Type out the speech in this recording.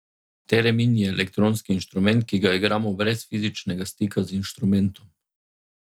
Teremin je elektronski inštrument, ki ga igramo brez fizičnega stika z inštrumentom.